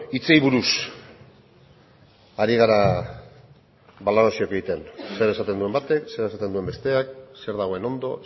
hitzei buruz ari gara balorazioak egiten zer esaten duen batek zer esaten duen besteak zer dagoen ondo